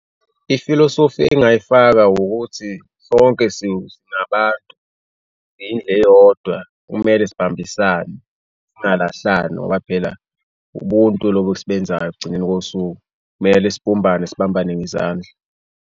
I-philosophy engingayifaka ukuthi sonke singabantu, siyindlu eyodwa kumele sibambisane, singalahlani ngoba phela ubuntu lobu osubenzayo ekugcineni kosuku kumele sibumbane, sibambane ngezandla.